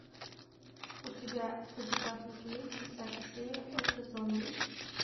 у тебя в загашнике есть десятая серия это зомби